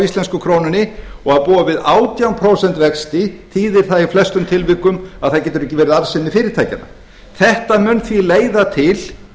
íslensku krónunni og að búa við átján prósent vexti þýðir það í flestum tilvikum að það getur ekki verið arðsemi fyrirtækjanna þetta mun því leiða til